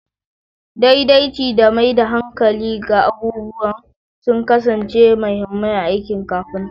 Daidaici da maida hankali ga abubuwa sun kasance mahimmai a aikin kafinta.